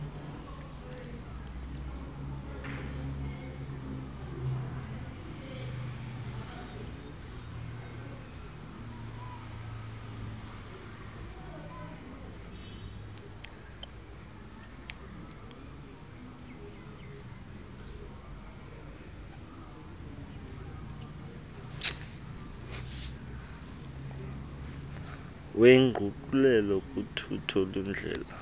wenguqulelo kuthutho lwendlela